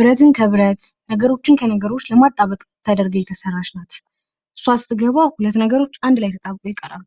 ብረትን ከብረት ነገሮችን ከነገሮች ለማጣበቅ ተደርጋ የተሰራች ናት። እሷ ስተገባ ሁለት ነገሮች አንድ ላይ ተጣብቀው ይቀራሉ።